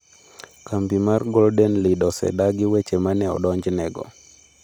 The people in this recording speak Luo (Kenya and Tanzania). Kambi mar Golden Lead osedagi weche ma ne odonjnego.